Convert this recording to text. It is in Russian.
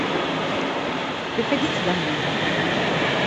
приходите домой